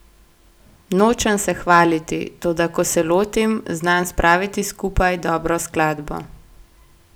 Nočem se hvaliti, toda ko se lotim, znam spraviti skupaj dobro skladbo.